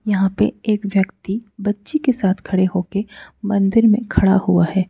यहां पे एक व्यक्ति बच्ची के साथ खड़े होकर मंदिर में खड़ा हुआ है।